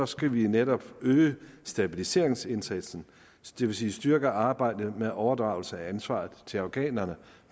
skal vi netop øge stabiliseringsindsatsen det vil sige styrke arbejdet med overdragelse af ansvaret til afghanerne